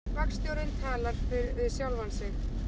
Vagnstjórinn talar við sjálfan sig